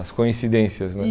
As coincidências, né?